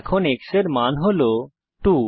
এখন x এর মান হল 2